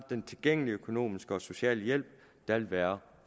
den tilgængelige økonomiske og sociale hjælp der vil være